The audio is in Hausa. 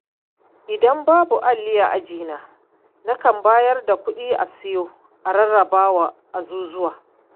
Idan babu alli a ajina, nakan bayar da kuɗi a sayo, a rarrabawa azuzuwa.